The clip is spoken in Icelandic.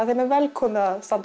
þeim er velkomið að standa